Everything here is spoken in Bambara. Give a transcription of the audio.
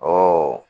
Ɔ